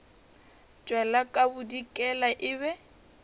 tšwela ka bodikela e be